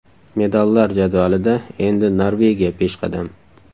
Medallar jadvalida endi Norvegiya peshqadam.